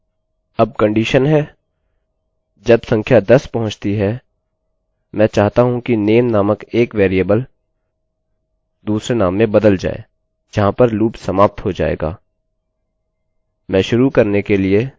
अब कंडीशन है जब संख्या 10 पहुँचती है मैं चाहता हूँ कि नेम name नामक एक वेरिएबल दूसरे नाम में बदल जाए जहाँ पर लूप loop समाप्त हो जाएगा